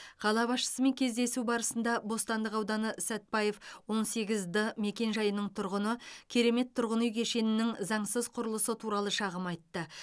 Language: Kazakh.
қала басшысымен кездесу барысында бостандық ауданы сәтпаев он сегіз д мекенжайының тұрғыны керемет тұрғын үй кешенінің заңсыз құрылысы туралы шағым айтты